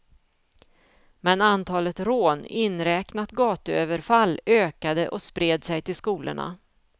Men antalet rån, inräknat gatuöverfall, ökade och spred sig till skolorna.